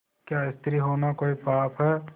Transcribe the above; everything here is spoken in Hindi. क्या स्त्री होना कोई पाप है